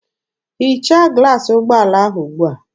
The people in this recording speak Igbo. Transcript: Hichaa glaasị ụgbọala ahụ ugbua!